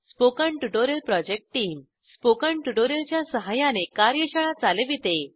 spoken tutorial project team spoken tutorial च्या सहाय्याने कार्यशाळा चालविते